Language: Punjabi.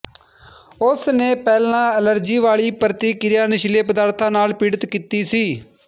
ਉਸ ਨੇ ਪਹਿਲਾਂ ਐਲਰਜੀ ਵਾਲੀ ਪ੍ਰਤਿਕ੍ਰਿਆ ਨਸ਼ੀਲੇ ਪਦਾਰਥਾਂ ਨਾਲ ਪੀੜਿਤ ਕੀਤੀ ਸੀ